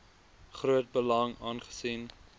groot belang aangesien